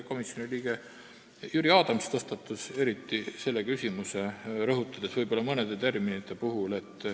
Komisjoni liige Jüri Adams tõstatas selle küsimuse, rõhutades mõnda terminit.